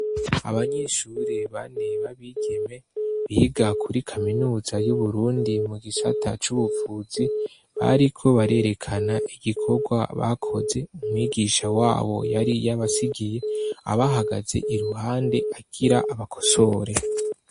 Abanyeshure bane b'abigeme biga kuri kaminuza y'Uburundi mu gisata c'ubuvuzi, bariko barerekana igikorwa bakoze, umwigisha wabo yari yabasigiye, abahagaze iruhande agira abakosore.